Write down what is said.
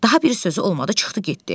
Daha bir sözü olmadı, çıxdı getdi.